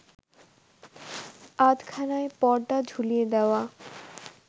আধখানায় পর্দা ঝুলিয়ে দেওয়া